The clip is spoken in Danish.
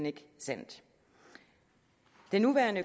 ikke sandt den nuværende